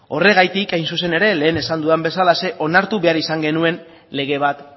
horregatik hain zuzen ere lehen esan dudan bezalaxe onartu behar izangenuen lege bat